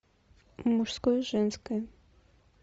мужское и женское